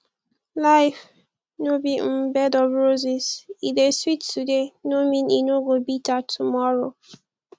life no be um bed of roses e dey sweet today no mean say e no go bitter tomorrow